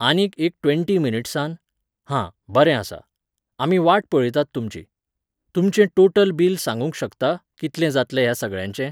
आनीक एक ट्वॅण्टी मिनट्सान? हां, बरें आसा. आमी वाट पळयतात तुमची. तुमचें टोटल बील सांगूंक शकता, कितलें जातलें ह्या सगळ्यांचें?